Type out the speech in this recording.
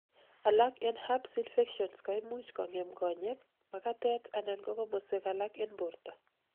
alak en herpes infections koimuch kongem konyek, makatet anan ko komoswek alak en borto